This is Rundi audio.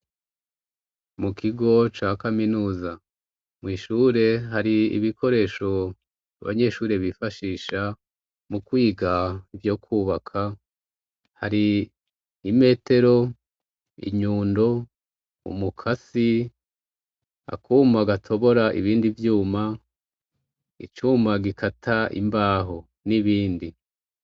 Mu kigo ca kaminuza mw'ishure hari ibikoresho abanyeshuri bifashisha, mu kwiga ivyo kubaka hari imetero, inyundo, umukasi ,akuma gatobora ibindi vyuma, icuma gikata imbaho n'ibindi.